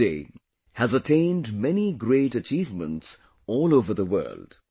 Yoga Day has attained many great achievements all over the world